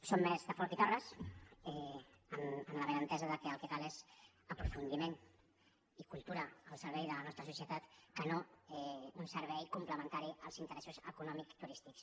som més de folch i torres amb el benentès que el que cal és aprofundiment i cultura al servei de la nostra societat no un servei complementari als interessos econòmics i turístics